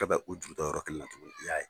Ɛ Bɛ o juru ta yɔrɔ kelen na tugunni; I y'a ye.